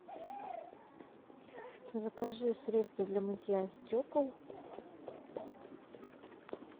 закажи средство для мытья стекол